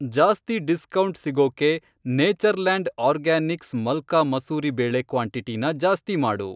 ಜಾಸ್ತಿ ಡಿಸ್ಕೌಂಟ್ ಸಿಗೋಕ್ಕೆ Natureland Organics ಮಲ್ಕಾ ಮಸೂರಿ ಬೇಳೆ ಕ್ವಾಂಟಿಟಿನ ಜಾಸ್ತಿ ಮಾಡು.